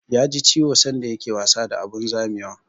Ya ji ciwo sanda ya ke wasa a abun zamewa